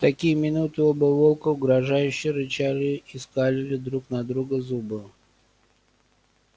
в такие минуты оба волка угрожающе рычали и скалили друг на друга зубы